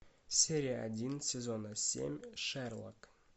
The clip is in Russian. серия один сезона семь шерлок